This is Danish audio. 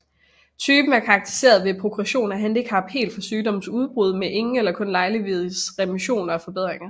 Typen er karakteriseret ved progression af handicap helt fra sygdommens udbrud med ingen eller kun lejlighedsvise remissioner og forbedringer